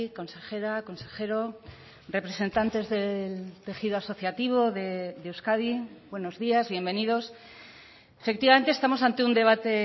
consejera consejero representantes del tejido asociativo de euskadi buenos días bienvenidos efectivamente estamos ante un debate